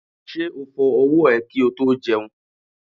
Ṣé o fọ ọwọ́ ẹ kí o tó jẹun?